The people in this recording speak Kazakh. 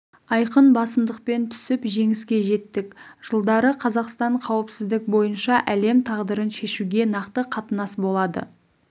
айқын басымдықпен түсіп жеңіске жеттік жылдары қазақстан қауіпсіздік бойынша әлем тағдырын шешуге нақты қатысатын болады